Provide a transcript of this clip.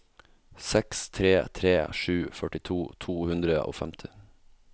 seks tre tre sju førtito to hundre og femti